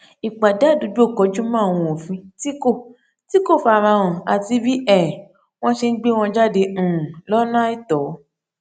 ìpàdé àdúgbò kọjú mọ àwọn òfin tí kò tí kò farahàn àti bí um wọn ṣe n gbé wọn jáde um lọnà àìtọ